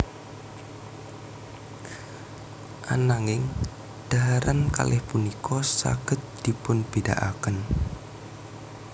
Ananging dhaharan kalih punika saged dipunbédakaken